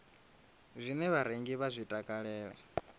zwine vharengi vha zwi takalela